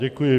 Děkuji.